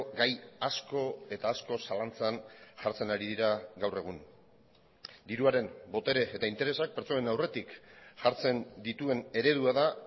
gai asko eta asko zalantzan jartzen ari dira gaur egun diruaren botere eta interesak pertsonen aurretik jartzen dituen eredua da